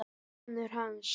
Sonur hans!